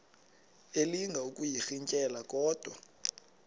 elinga ukuyirintyela kodwa